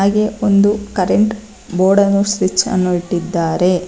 ಗೆ ಒಂದು current board ಅನ್ನು ಸ್ವಿಚ್ ಅನ್ನು ಇಟ್ಟಿದ್ದಾರೆ.